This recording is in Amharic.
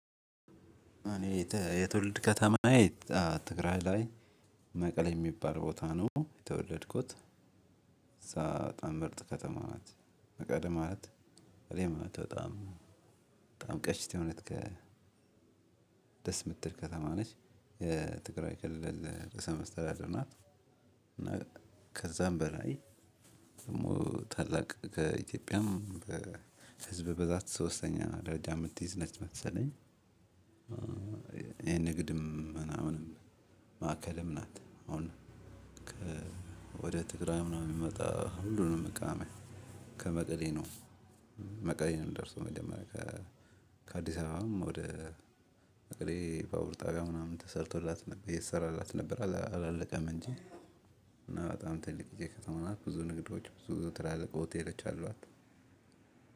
እኔ የተ የትውልድ ከተማዬ ትግራይ ላይ መቀሌ ሚባል ቦታ ነው የተወለድኩት። እዛ በጣም ምርጥ ከተማ ናት። መቀለ ማለት መቀሌ ማለት በጣም በጣም ቀሽት የሆነች ከ የምትል ከተማ ነች። የትግራይ ክልል ርዕሰ መስተዳደር ናት። እና ከዛም በላይ ደግሞ ታላቅ ከኢትዮጵያም በህዝብ ብዛት ሶስተኛ ደረጃ ምትይዝ ነች መሰለኝ። የንግድም ምናምንም ማዕከልም ናት። አሁን ከ ወደ ትግራይ ምናምን ሚመጣ ሁሉንም እቃ ሚያ ከመቀሌ ነው። መቀሌ ነው ሚደርሰው መጀመሪያ ከ ከአዲስ አበባም ወደ መቀሌ ባቡር ጣቢያ ምናምን ተሰርቶላት ነብ እየተሰራላት ነበር አላ አላለቀም እንጂ። እና በጣም ትልቅዬ ከተማ ናት ብዙ ንግዶች ብዙ ትላልቅ ሆቴሎች አሏት።